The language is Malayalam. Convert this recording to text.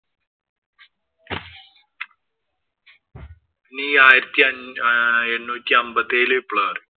ഇനി ഈ ആയിരത്തി അഞ്ഞൂ എണ്ണൂറ്റി അമ്പത്തിയേഴിലെ വിപ്ലവം അറിയോ?